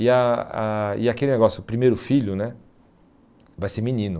E ah ah e aquele negócio, o primeiro filho né vai ser menino.